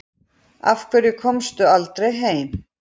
Af hverju komstu aldrei heim?